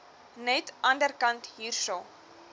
net anderkant hierso